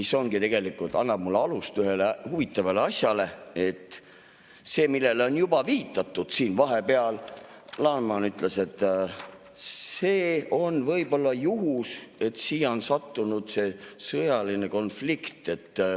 See tegelikult annab ehk alust ühele huvitavale asjale, et see, millele on juba siin viidatud – Laneman ütles –, et kas on juhus, et siia on sattunud "sõjaline konflikt".